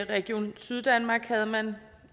region syddanmark har man